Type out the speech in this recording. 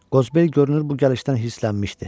Qozbel görünür bu gəlişdən hisslənmişdi.